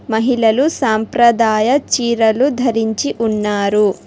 మహిళలు సంప్రదాయ చీరలు ధరించి ఉన్నారు.